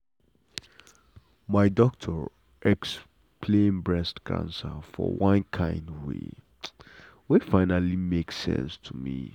my doctor explain breast cancer for one kind way wey finally make sense to me.